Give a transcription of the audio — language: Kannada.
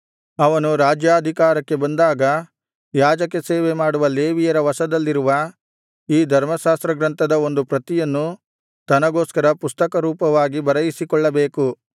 ಅವನು ರಾಜ್ಯಾಧಿಕಾರಕ್ಕೆ ಬಂದಾಗ ಯಾಜಕ ಸೇವೆಮಾಡುವ ಲೇವಿಯರ ವಶದಲ್ಲಿರುವ ಈ ಧರ್ಮಶಾಸ್ತ್ರಗ್ರಂಥದ ಒಂದು ಪ್ರತಿಯನ್ನು ತನಗೋಸ್ಕರ ಪುಸ್ತಕರೂಪವಾಗಿ ಬರೆಯಿಸಿಕೊಳ್ಳಬೇಕು